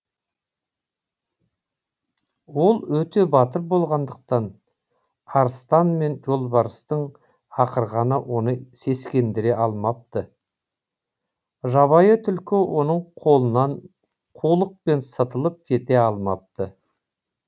ол өте батыр болғандықтан арыстан мен жолбарыстың ақырғаны оны сескендіре алмапты жабайы түлкі оның қолынан қулықпен сытылып кете алмапты